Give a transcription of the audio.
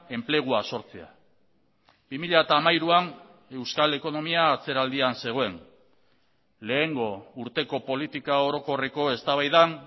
enplegua sortzea bi mila hamairuan euskal ekonomia atzeraldian zegoen lehengo urteko politika orokorreko eztabaidan